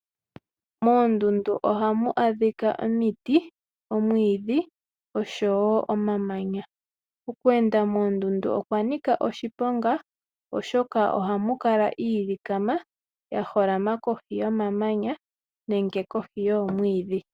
Moondundu ohamu adhika omiti, omwiidhi oshowo omamanya. Okweenda moondundu okwa nika oshiponga oshoka ohamu kala iilikama ya holama kohi yomamanya nenge kohi yoomwiidhi.